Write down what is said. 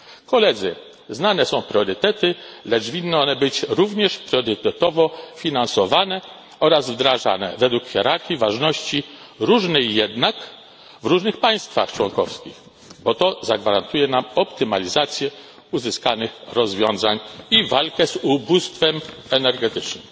Koledzy, znane są priorytety, lecz winny one być również priorytetowo finansowane oraz wdrażane, według hierarchii ważności różnej jednak w różnych państwach członkowskich, bo to zagwarantuje nam optymalizację uzyskanych rozwiązań i walkę z ubóstwem energetycznym.